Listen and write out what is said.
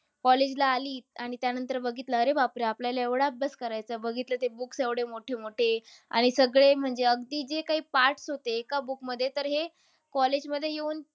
College ला आली. आणि त्यानंतर बघितलं, अरे बापरे आपल्याला एवढा अभ्यास करायचा आहे. बघितलं तर books एवढे मोठे-मोठे. आणि सगळे म्हणजे अगदी जे काय parts होते एका book मध्ये, तर हे college मध्ये येऊन त्या